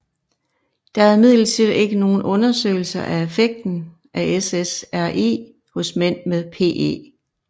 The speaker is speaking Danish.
Der er imidlertid ikke nogle undersøgelser af effekten af SSRI hos mænd med PE